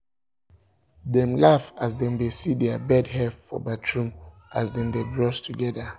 dem laugh as dem see their bed hair for um for um bathroom as um dem dae brush together